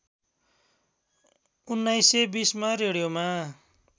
१९२०मा रेडियोमा